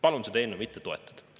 Palun seda eelnõu mitte toetada.